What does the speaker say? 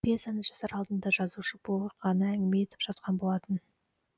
пьесаны жазар алдында жазушы бұл оқиғаны әңгіме етіп жазған болатын